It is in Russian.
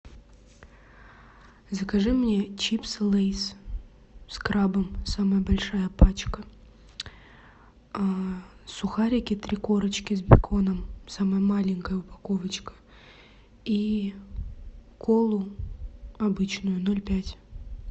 закажи мне чипсы лейс с крабом самая большая пачка сухарики три корочки с беконом самая маленькая упаковочка и колу обычную ноль пять